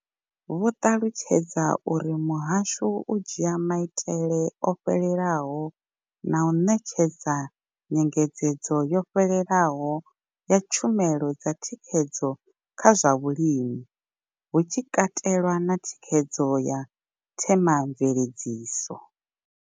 Vho ṱalutshedza uri muhasho u dzhia maitele o fhelelaho na u ṋetshedza nyengedzedzo yo fhelelaho ya tshumelo dza thikhedzo kha zwa vhulimi, hu tshi katelwa na thikhedzo ya themamveledziso.